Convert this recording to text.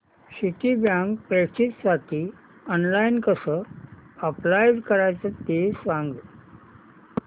Citibank प्रेस्टिजसाठी online कसं apply करायचं ते सांग